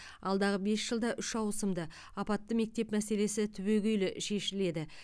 алдағы бес жылда үш ауысымды апатты мектеп мәселесі түбегейлі шешіледі